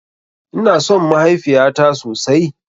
Ina son mahaifiyata sosai.